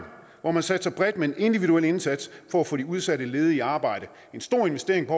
hvor man satser bredt med en individuel indsats for at få de udsatte ledige i arbejde en stor investering